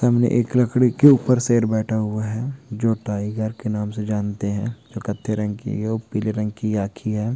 तुमने एक लकड़ी के ऊपर शेर बैठा हुआ है जो टाइगर के नाम से जानते है। जो कतते रहेगे वह पीले रंग की आखी है।